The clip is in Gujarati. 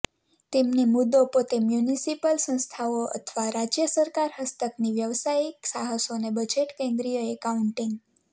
તેમની મુદ્દો પોતે મ્યુનિસિપલ સંસ્થાઓ અથવા રાજ્ય સરકાર હસ્તકની વ્યાવસાયિક સાહસોને બજેટ કેન્દ્રિય એકાઉન્ટિંગ